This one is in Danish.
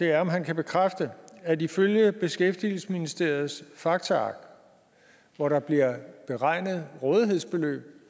er om han kan bekræfte at ifølge beskæftigelsesministeriets faktaark hvor der bliver beregnet rådighedsbeløb